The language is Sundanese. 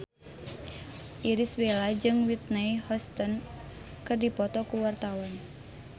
Irish Bella jeung Whitney Houston keur dipoto ku wartawan